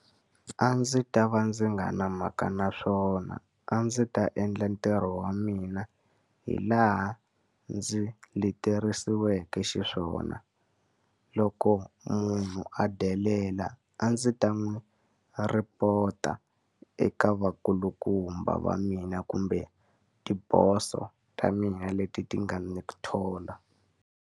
A ndzi ta va ndzi nga ri na mhaka na swona. A ndzi ta endla ntirho wa mina hi laha ndzi leterisiweke xiswona. Loko munhu a delela a ndzi ta n'wi report-a eka vakulukumba va mina kumbe tiboso ta mina leti ti nga ni thola.